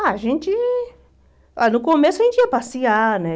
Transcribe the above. Ah, a gente ah... No começo a gente ia passear, né?